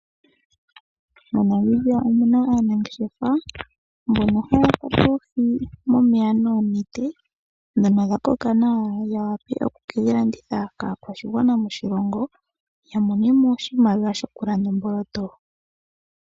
MoNamibia omuna aanangeshefa mbono haya kwata oohi momeya noonete dhono dhakoka nawa yawape okukedhi landitha kaakwashigwana moshilongo yamonemo oshimaliwa shokulanda omboloto.